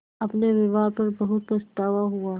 अपने व्यवहार पर बहुत पछतावा हुआ